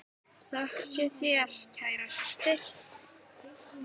Þökk sé þér, kæra systir.